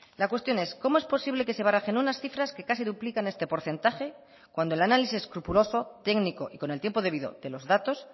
la cuestión es cómo es posible que se barajen unas cifras que casi duplican este porcentaje cuando el análisis escrupuloso técnico y con el tiempo debido de los datos